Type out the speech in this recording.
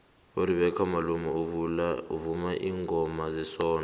uribecca malope uvuma ilngoma zesondo